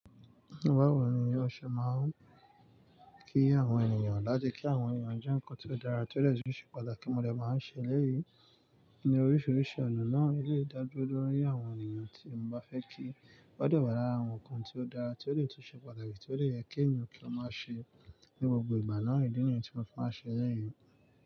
Mo bá wò ní yóò ṣe máa ń kí àwọn ènìyàn láti kí àwọn ènìyàn ju nǹkan tí ó dára tí ó lè túnṣe padà kí mo lè máa ṣe lẹ́yìn. Ní oríṣiríṣi ọ̀nà náà, ìdílé dàgbà dúró ní àwọn ènìyàn tí mo bá fẹ́ kí wọ́n dùn bara àwọn nǹkan tí ó dára tí ó lè túnṣe padà àti tí ó lè yẹ kí ènìyàn tó máa ṣe ní gbogbo ìgbà náà ìdí nìyí tí mo fẹ́ máa ṣe lẹ́yìn.